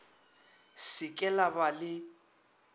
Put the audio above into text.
se ke la ba le